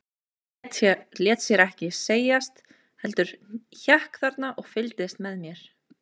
En hann lét sér ekki segjast, heldur hékk þarna og fylgdist með mér.